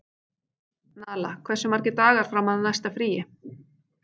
Nala, hversu margir dagar fram að næsta fríi?